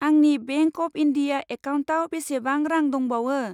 आंनि bank of India एकाउन्टाव बेसेबां रां दंबावो?